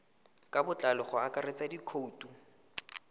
ka botlalo go akaretsa dikhoutu